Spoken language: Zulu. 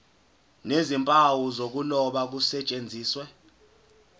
nezimpawu zokuloba kusetshenziswe